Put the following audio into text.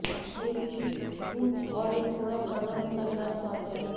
यह एक विशिष्ट खुशबू और एक थोड़ा कड़वा मसालेदार स्वाद है